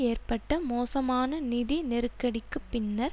ஏற்பட்ட மோசமான நிதி நெருக்கடிக்கு பின்னர்